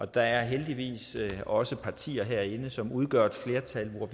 der er heldigvis også partier herinde som udgør et flertal og